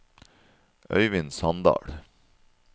Øivind Sandal